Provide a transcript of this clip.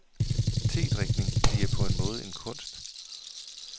Tedrikning bliver på en måde en kunst.